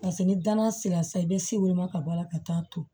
Paseke ni danaya sera sa i bɛ se woloma ka bɔ ala ka taa to